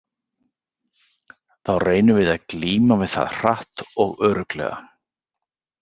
Þá reynum við að glíma við það hratt og örugglega.